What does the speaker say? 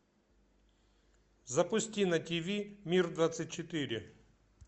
запусти на тв мир двадцать четыре